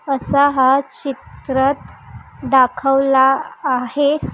असा हा चित्रात दाखवला आहे.